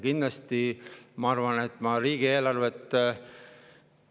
Ma arvan, et ma riigieelarvest kindlasti.